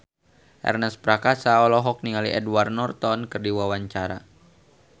Ernest Prakasa olohok ningali Edward Norton keur diwawancara